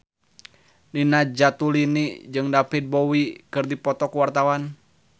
Nina Zatulini jeung David Bowie keur dipoto ku wartawan